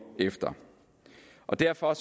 efter derfor